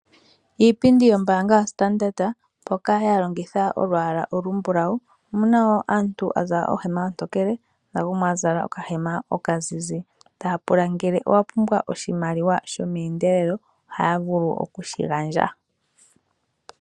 Iipindi yombaanga yaStandard Bank mpoka ya longitha olwaala olumbulawu, taya tulamo omuntu a zala ohema ontokele nomukwawo a zala okahema okazizi. Ota ya pula ngele owa pumbwa oshimaliwa shomeendelelo, oha ya vulu oku shi gandja.